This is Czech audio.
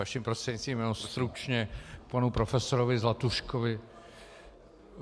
Vaším prostřednictvím jenom stručně panu profesorovi Zlatuškovi.